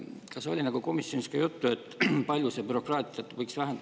Kas oli komisjonis ka juttu, kui palju see bürokraatiat võiks vähendada?